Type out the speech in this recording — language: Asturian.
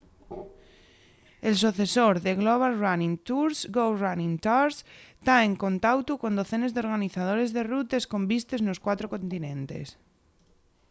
el socesor de global running tours go running tours ta en contautu con docenes d'organizadores de rutes con vistes nos cuatro continentes